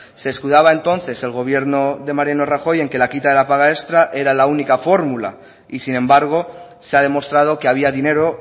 se escudaba entonces el gobierno de mariano rajoy en que la quita de la paga extra era la única fórmula y sin embargo se ha demostrado que había dinero